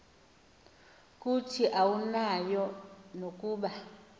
kuthi awunayo nokuba